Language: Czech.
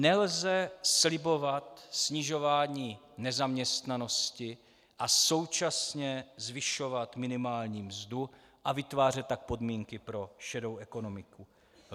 Nelze slibovat snižování nezaměstnanosti a současně zvyšovat minimální mzdu a vytvářet tak podmínky pro šedou ekonomiku.